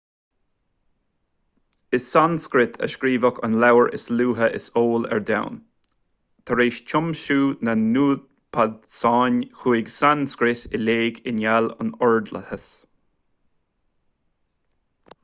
i sanscrait a scríobhadh an leabhar is luaithe is eol ar domhan tar éis tiomsú na n-upainisead chuaigh sanscrait i léig i ngeall ar ordlathas